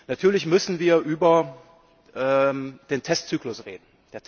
Natürlich müssen wir über den Testzyklus reden.